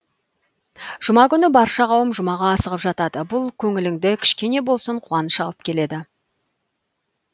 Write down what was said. жұма күні барша қауым жұмаға асығып жатады бұл көңіліңді кішкене болсын қуаныш алып келеді